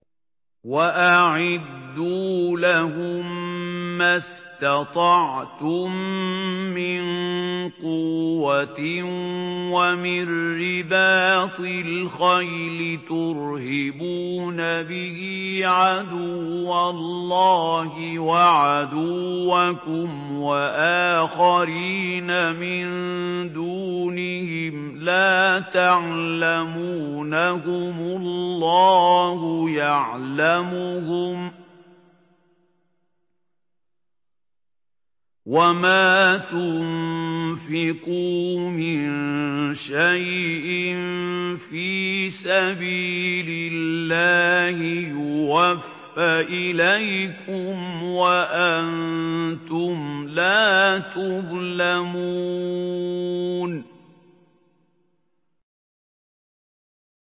وَأَعِدُّوا لَهُم مَّا اسْتَطَعْتُم مِّن قُوَّةٍ وَمِن رِّبَاطِ الْخَيْلِ تُرْهِبُونَ بِهِ عَدُوَّ اللَّهِ وَعَدُوَّكُمْ وَآخَرِينَ مِن دُونِهِمْ لَا تَعْلَمُونَهُمُ اللَّهُ يَعْلَمُهُمْ ۚ وَمَا تُنفِقُوا مِن شَيْءٍ فِي سَبِيلِ اللَّهِ يُوَفَّ إِلَيْكُمْ وَأَنتُمْ لَا تُظْلَمُونَ